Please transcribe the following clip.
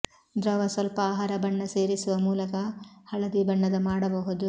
ದ್ರವ ಸ್ವಲ್ಪ ಆಹಾರ ಬಣ್ಣ ಸೇರಿಸುವ ಮೂಲಕ ಹಳದಿ ಬಣ್ಣದ ಮಾಡಬಹುದು